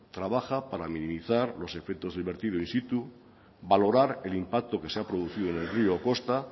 trabaja para minimizar los efectos del vertido in situ valorar el impacto que se ha producido en el rio o costa